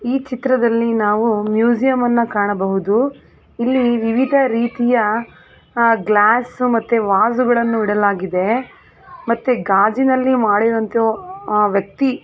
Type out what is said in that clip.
ಈ ಚಿತ್ರದಲ್ಲಿ ನಾವು ಮ್ಯೂಸಿಯಂ ಅನ್ನು ಕಾಣಬಹುದು ಇಲ್ಲಿ ಗ್ಲಾಸ್ ಗಳನ್ನೂ ಇಡಲಾಗಿದೆ ಮತ್ತು ಗಾಜಿನಲ್ಲಿ ಮಾಡಿರುವಂತಹ ವ್ಯಕ್ತಿ--